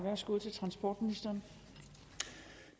så